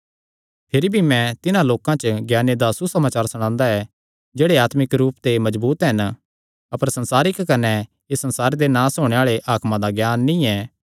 भिरी भी मैं तिन्हां लोकां च ज्ञाने दा सुसमाचार सणांदा ऐ जेह्ड़े आत्मिक रूप ते मजबूत हन अपर संसारिक कने इस संसारे दे नास होणे आल़े हाकमां दा ज्ञान नीं ऐ